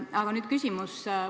Aga nüüd küsimus.